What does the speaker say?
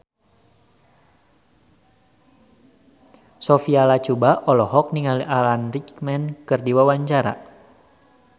Sophia Latjuba olohok ningali Alan Rickman keur diwawancara